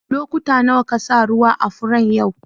Lokuta nawa ka sa ruwa a'furen yau?